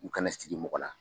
U kana sigi mɔgɔ la.